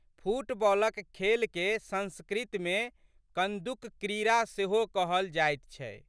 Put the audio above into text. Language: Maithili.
फुटबालक खेलके संस्कृतमे कंदुकक्रीड़ा सेहो कहल जाइत छै।